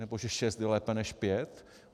Nebo že šest je lépe než pět?